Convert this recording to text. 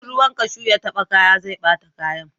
In ruwan kashu ya taba kaya zai bata kayan